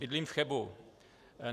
Bydlím v Chebu.